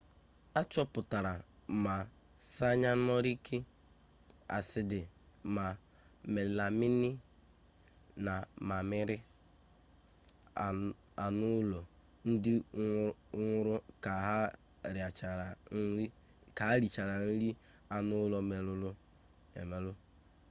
a chọpụtara ma sayanọriki asidi ma melamini na mamịrị anụụlọ ndị nwụrụ ka ha richara nri anụụlọ merụrụ emerụ